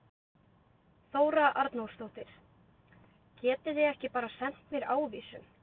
Þóra Arnórsdóttir: Getið þið ekki bara sent mér ávísun?